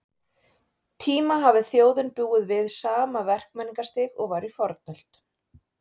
tíma hafi þjóðin búið við sama verkmenningarstig og var í fornöld.